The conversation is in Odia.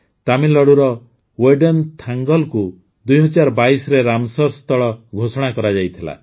ତାମିଲନାଡୁର ୱେଡନ୍ଥାଙ୍ଗଲକୁ ୨୦୨୨ରେ ରାମସର୍ ସ୍ଥଳ ଘୋଷଣା କରାଯାଇଥିଲା